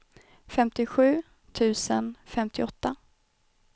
femtiosju tusen femtioåtta